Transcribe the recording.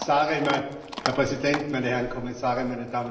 Herr Präsident, meine Herren Kommissare, meine Damen und Herren!